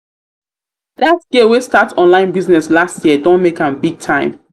that girl wey start online business last year don year don make am big time